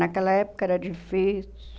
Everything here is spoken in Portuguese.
Naquela época era difícil.